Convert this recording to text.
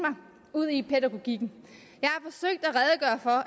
ud i pædagogikken